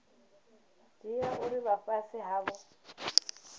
dzhia uri vha fhasi havho